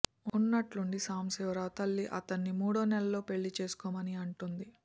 ఉన్నట్టుండి సాంబశివరావు తల్లి అతన్ని మూడు నెలల్లో పెళ్లి చేసుకోమని అంటుంది